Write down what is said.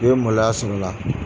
I bɛ maloya sɔrɔ la.